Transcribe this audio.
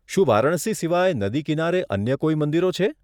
શું વારાણસી સિવાય નદી કિનારે અન્ય કોઈ મંદિરો છે?